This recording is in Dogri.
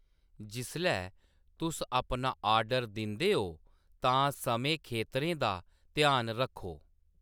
जिसलै तुस अपना ऑर्डर दिंदे ओ तां समें खेतरें दा ध्यान रक्खो।